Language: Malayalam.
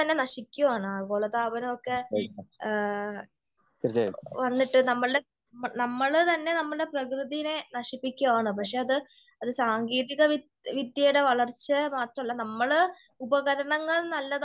ആഗോള താപനമൊക്കെ ഏ വന്നിട്ട് നമ്മളുടെ നമ്മള് തന്നെ നമ്മളുടെ പ്രകൃതീനെ നശിപ്പിക്കുവാണ്. പക്ഷേ അത് സാങ്കേതിക വിദ്യയുടെ വളർച്ച മാത്രമല്ല നമ്മൾ ഉപകരണങ്ങൾ നല്ലതായിട്ട്